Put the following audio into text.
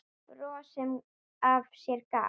Bros sem af sér gaf.